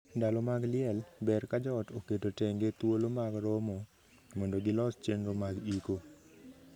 Ndalo mag liel, ber ka joot oketo tenge thuolo mag romo mondo gilos chenro mag iko.